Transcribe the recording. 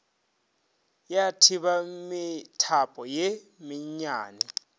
ya thiba methapo ye mennyane